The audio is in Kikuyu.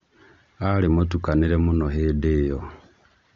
Ari mũtukanĩre mũno hĩndĩ ĩyo